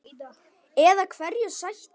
Eða hverju sætti?